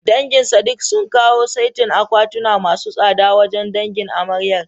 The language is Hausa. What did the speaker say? Dangin Sadik sun kawo saitin akwatuna masu tsada wajen dangin amaryar.